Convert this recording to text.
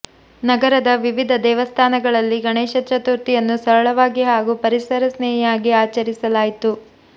ನಗರದ ವಿವಿಧ ದೇವಸ್ಥಾನಗಳಲ್ಲಿ ಗಣೇಶ ಚತುರ್ಥಿಯನ್ನು ಸರಳವಾಗಿ ಹಾಗೂ ಪರಿಸರ ಸ್ನೇಹಿಯಾಗಿ ಆಚರಿಸಲಾಯಿತು